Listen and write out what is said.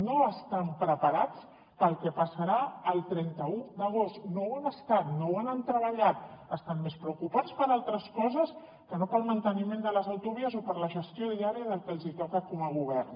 no estan preparats pel que passarà el trenta un d’agost no ho han estat no ho han treballat estan més preocupats per altres coses que no pel manteniment de les autovies o per la gestió diària del que els toca com a govern